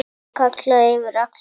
Hann kallaði yfir alla.